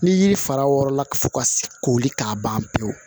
Ni yiri fara wɔrɔla fo ka koli k'a ban pewu